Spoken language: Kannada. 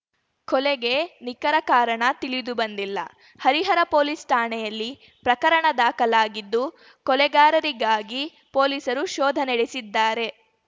ಕೊಲೆಗೆ ನಿಖರ ಕಾರಣ ತಿಳಿದು ಬಂದಿಲ್ಲ ಹರಿಹರ ಪೊಲೀಸ್‌ ಠಾಣೆಯಲ್ಲಿ ಪ್ರಕರಣ ದಾಖಲಾಗಿದ್ದು ಕೊಲೆಗಾರರಿಗಾಗಿ ಪೊಲೀಸರು ಶೋಧ ನಡೆಸಿದ್ದಾರೆ